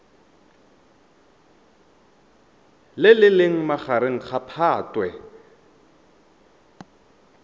le leng magareng ga phatwe